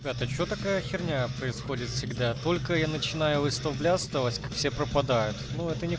ты что такая х происходит всегда только я начинаю выставлять осталось все пропадают